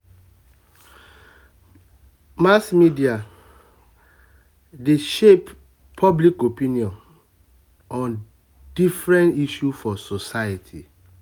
mass media um dey um dey um shape um public opinion on different issues for society.